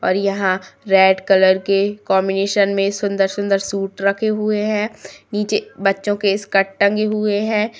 और यहाँ red colour के कॉन्बिनेशन में सुंदर-सुंदर सूट रखे हुए हैं नीचे बच्चों के स्कर्ट टंगे हुए हैं।